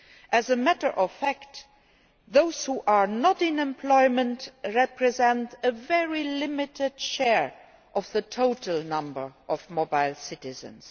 As a matter of fact, those who are not in employment represent a very limited share of the total number of mobile citizens.